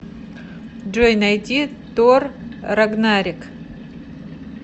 джой найди тор рагнарек